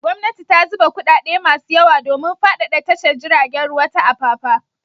Gwamnati ta zuba kuɗaɗe masu yawa domin faɗaɗa tashar jiragen ruwa ta Apapa.